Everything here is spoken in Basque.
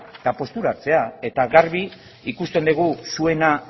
eta postura hartzea eta garbi ikusten dugu zuena